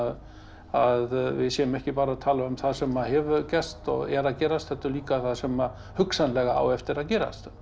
að við séum ekki bara að tala um það sem hefur gerst og er að gerast heldur líka það sem hugsanlega á eftir að gerast